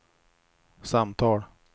samtal